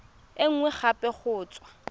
e nngwe gape go tswa